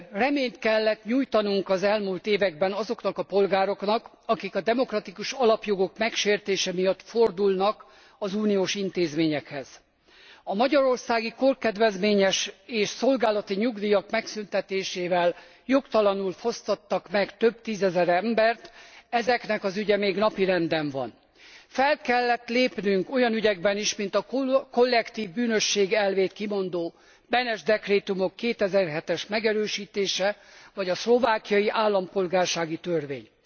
Reményt kellett nyújtanunk az elmúlt években azoknak a polgároknak, akik a demokratikus alapjogok megsértése miatt fordulnak az uniós intézményekhez. A magyarországi korkedvezményes és szolgálati nyugdíjak megszüntetésével jogtalanul fosztottak meg több tízezer embert. Ezeknek az ügye még napirenden van. Fel kellett lépnünk olyan ügyekben is, mint a kollektív bűnösség elvét kimondó Benes dekrétumok 2007 es megerősítése, vagy a szlovákiai állampolgársági törvény.